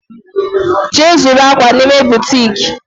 Je zuru akwa n'ime butiiki